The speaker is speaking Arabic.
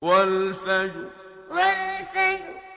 وَالْفَجْرِ وَالْفَجْرِ